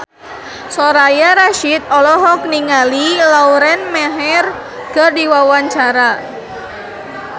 Soraya Rasyid olohok ningali Lauren Maher keur diwawancara